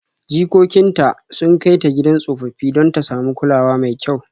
Jikokin ta sun kai ta gidan tsofaffi don ta samu kulawa mai kyau.